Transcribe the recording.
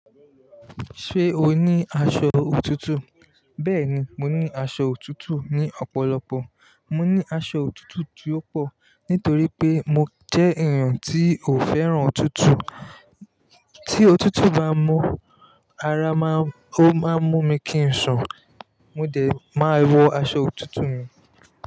Ṣé o ní aṣọ òtútù? Bẹ́ẹ̀ni, mo ní aṣọ òtútù ní ọ̀pọ̀lọpọ̀. Mo ní aṣọ òtútù tí ó pọ̀ nítorí pé mo jẹ́ èèyàn tí ò fẹ́ràn òtútù. Tí òtútù bá mú ara maa, ó máa mú mi kí ń sùn. Mo dẹ̀, màá wọ aṣọ òtútù mi.